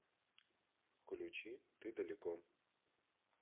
включи ты далеко